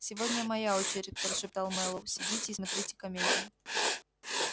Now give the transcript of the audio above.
сегодня моя очередь прошептал мэллоу сидите и смотрите комедию